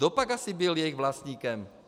Kdopak asi byl jejich vlastníkem?